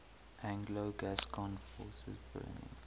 anglo gascon forces burning